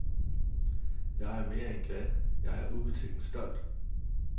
Jeg er mere end glad, jeg er ubetinget stolt.